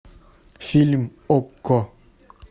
фильм окко